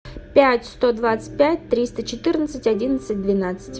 пять сто двадцать пять триста четырнадцать одиннадцать двенадцать